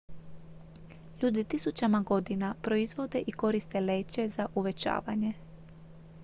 ljudi tisućama godina proizvode i koriste leće za uvećavanje